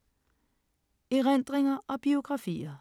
Erindringer og biografier